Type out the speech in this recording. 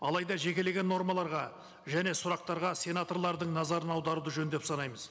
алайда жекелеген нормаларға және сұрақтарға сенаторлардың назарын аударуды жөн деп санаймыз